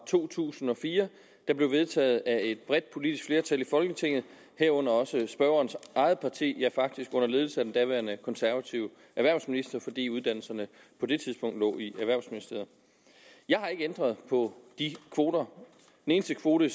to tusind og fire der blev vedtaget af et bredt politisk flertal i folketinget herunder også spørgerens eget parti ja faktisk under ledelse af den daværende konservative erhvervsminister fordi uddannelserne på det tidspunkt lå i erhvervsministeriet jeg har ikke ændret på de kvoter den eneste kvote